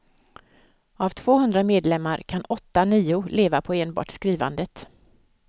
Av tvåhundra medlemmar kan åtta, nio leva på enbart skrivandet.